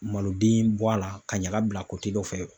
Maloden bɔ a la ka ɲaga bila kote dɔ fɛ